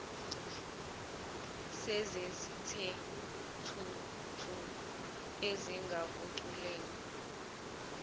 esezithe thuthu ezingakuculela